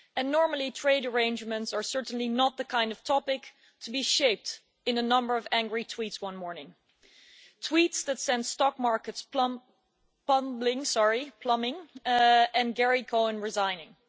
Normally trade arrangements are certainly not the kind of topic to be shaped in a number of angry tweets one morning tweets that sent stock markets plummeting and Gary Cohn resigning.